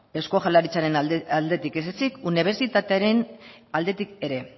eusko jaurlaritzaren aldetik ez ezik unibertsitatearen aldetik ere